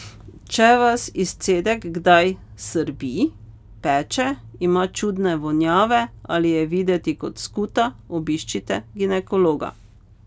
Če vas izcedek kdaj srbi, peče, ima čudne vonjave ali je videti kot skuta, obiščite ginekologa.